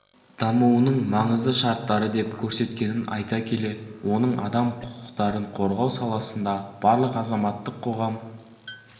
дамуының маңызды шарттары деп көрсеткенін айта келе оның адам құқықтарын қорғау саласында барлық азаматтық қоғам